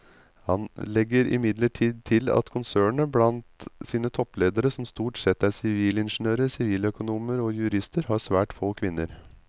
Han legger imidlertid til at konsernet blant sine toppledere som stort sette er sivilingeniører, siviløkonomer og jurister har svært få kvinner.